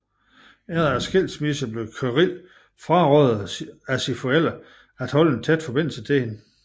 Efter skilsmissen blev Kirill frarådet af sine forældre at holde en tæt forbindelse til hende